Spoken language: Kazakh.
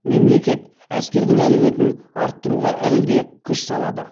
мемлекет әскердің әлеуетін арттыруға әлі де күш салады